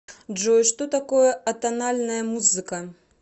джой что такое атональная музыка